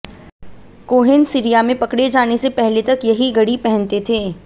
Cohen Syria में पकड़े जाने से पहले तक यही घड़ी पहनते थे